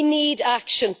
We need action.